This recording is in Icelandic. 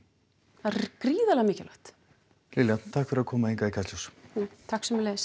það er gríðarlega mikilvægt Lilja takk fyrir að koma hingað í Kastljós takk sömuleiðis